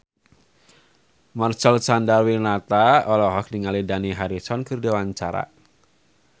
Marcel Chandrawinata olohok ningali Dani Harrison keur diwawancara